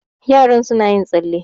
yaron suna yin tsalle